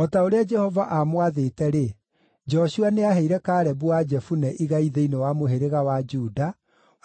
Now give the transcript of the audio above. O ta ũrĩa Jehova aamwathĩte-rĩ, Joshua nĩaheire Kalebu wa Jefune igai thĩinĩ wa mũhĩrĩga wa Juda,